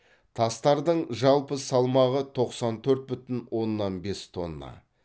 тастардың жалпы салмағы тоқсан төрт бүтін оннан бес тонна